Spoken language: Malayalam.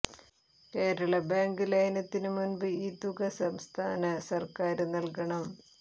കേരള ബാങ്ക് ലയനത്തിന് മുന്പ് ഈ തുക സംസ്ഥാന സര്ക്കാര് നല്കണം